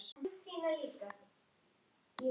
Sérðu það sem ég sé?